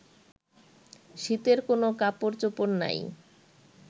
শীতের কোন কাপড়চোপড় নাই